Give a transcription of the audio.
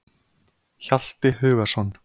Hjalti Hugason.